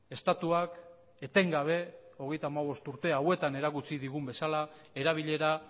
estatuak etengabe hogeita hamabost urte hauetan erakutsi digun bezala erabilera